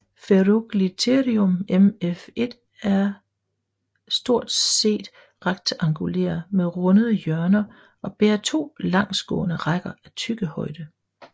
Ferugliotherium mf1er er stort set rektangulære med rundede hjørner og bærer to langsgående rækker af tyggehøje